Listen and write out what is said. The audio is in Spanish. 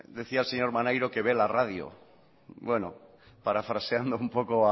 decía el señor maneiro que ve la radio bueno parafraseando un poco